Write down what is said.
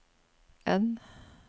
N